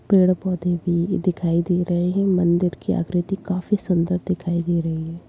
पेड़-पौधे भी दिखाई दे रहे हैं मंदिर आकृति काफी सुन्दर दिखाई दे रही है।